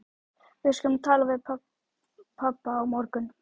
Við skulum tala við pabba á morgun.